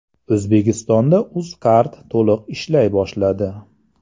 O‘zbekistonda Uzcard to‘liq ishlay boshladi.